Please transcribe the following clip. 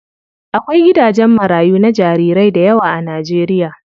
Akwai gidajen marayu na jarirai dayawa a Najeriya.